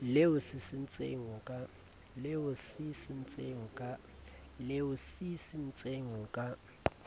le o sisintseng o ka